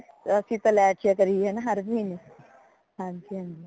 ਅਸੀਂ ਤੇ ਲੈ ਚਲਿਆ ਕਰੀਏ ਹਰ ਮਹੀਨੇ ਹਾਂਜੀ ਹਾਂਜੀ